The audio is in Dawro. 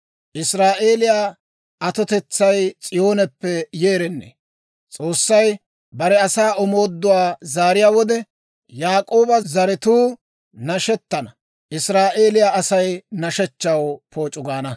Israa'eeliyaw atotetsay S'iyooneppe yeerennee! S'oossay bare asaa omooduwaa zaariyaa wode, Yaak'ooba zaratuu nashettana; Israa'eeliyaa Asay nashshechchaw pooc'u gaana.